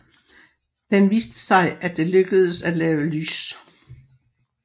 Den viste sig at det lykkedes at lave lys